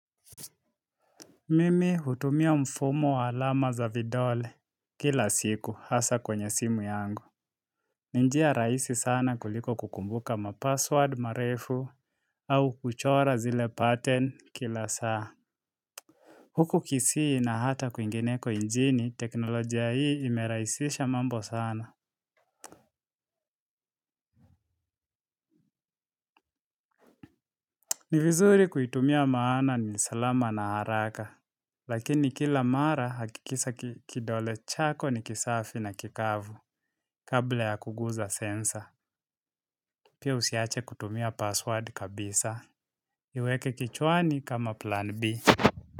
Mimi hutumia mfumo wa alama za vidole kila siku hasa kwenye simu yangu. Ni njia rahisi sana kuliko kukumbuka mapassword marefu au kuchora zile pattern kila saa. Huku kisii na hata kwingineko njini teknolojia hii imeraisisha mambo sana. Ni vizuri kuitumia maana ni salama na haraka. Lakini kila mara hakikisa kidole chako ni kisafi na kikavu kabla ya kuguza sensa. Pia usiache kutumia password kabisa. Iweke kichwani kama plan B.